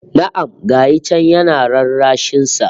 Na'am! Ga shi can yana rarrashin sa